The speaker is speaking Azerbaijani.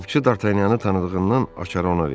Qapıçı Dartanyanı tanıdığından açarı ona verdi.